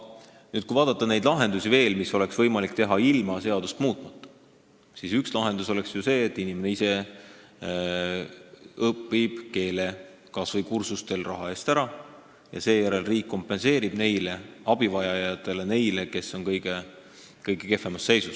Kui vaadata veel neid lahendusi, mida oleks võimalik teha ilma seadust muutmata, siis üks lahendus oleks ju see, et inimesed õpivad ise keele kursustel, raha eest ära, misjärel riik kompenseerib seda abivajajatele, neile, kes on kõige kehvemas seisus.